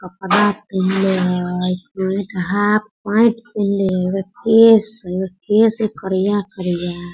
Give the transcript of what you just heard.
कपड़ा पहिए हई पेंट हाफ पेंट पैनलें हई केस हई केस करिया कइलें हई। .